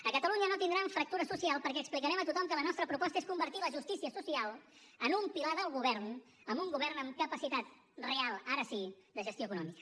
a catalunya no tindran fractura social perquè explicarem a tothom que la nostra proposta és convertir la justícia social en un pilar del govern amb un govern amb capacitat real ara sí de gestió econòmica